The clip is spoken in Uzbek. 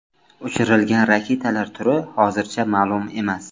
Uchirilgan raketalar turi hozircha ma’lum emas.